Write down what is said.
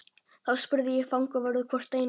Þá spurði ég fangavörð hvort Einar